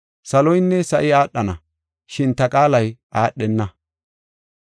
Saloynne sa7i aadhana, shin ta qaalay aadhenna.